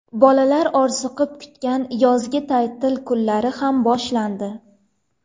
Bolalar orziqib kutgan yozgi ta’til kunlari ham boshlandi.